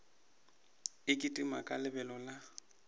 e kitima ka lebelo la